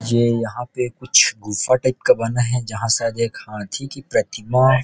ये यहां पे कुछ गुफा टाइप का बना है जहां शायद एक हाथी की प्रतिमा --